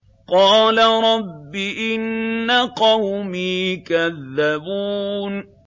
قَالَ رَبِّ إِنَّ قَوْمِي كَذَّبُونِ